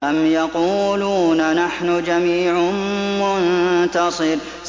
أَمْ يَقُولُونَ نَحْنُ جَمِيعٌ مُّنتَصِرٌ